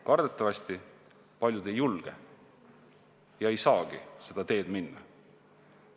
Kardetavasti paljud ei julge ja ei saagi seda teed minna.